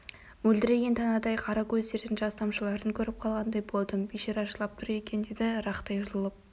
мөлдіреген танадай қара көздерінен жас тамшыларын көріп қалғандай болдым бейшара жылап тұр екен деді рақтай жұлып